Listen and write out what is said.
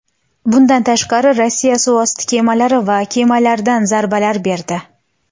Bundan tashqari, Rossiya suvosti kemalari va kemalardan zarbalar berdi.